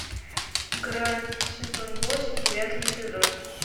грань сезон восемь девятый эпизод